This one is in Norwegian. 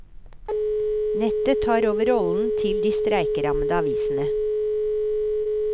Nettet tar over rollen til de streikerammede avisene.